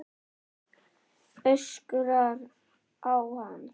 Öskrar á hann.